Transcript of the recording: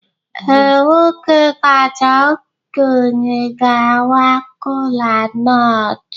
Ee, nwoke kacha okenye ga-awa kolanut.